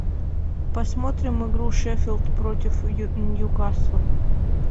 посмотрим игру шеффилд против ньюкасла